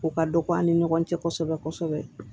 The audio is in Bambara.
O ka dɔgɔ an ni ɲɔgɔn cɛ kosɛbɛ kosɛbɛ